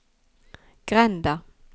grenda